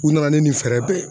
U nana ni fɛɛrɛ bɛɛ ye.